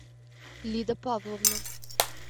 лида павловна